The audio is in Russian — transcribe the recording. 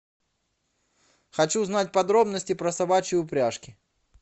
хочу узнать подробности про собачьи упряжки